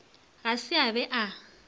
ga se a be a